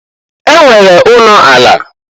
E nwere ụnọ ala.